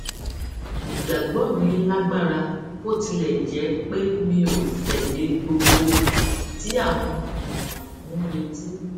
ìgbàgbọ mi lágbára bó tilẹ jẹ pé mi ò tẹlé gbogbo ohun tí àwọn èèyàn ń retí